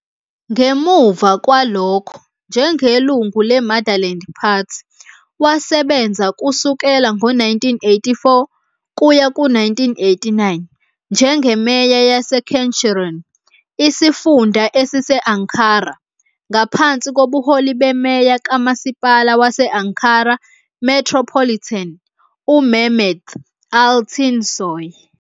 Ngemuva kwalokho, njengelungu le-Motherland Party, wasebenza kusukela ngo-1984 kuya ku-1989 njengeMeya yaseKeçiören, isifunda esise-Ankara, ngaphansi kobuholi beMeya kaMasipala wase-Ankara Metropolitan, uMehmet Altinsoy.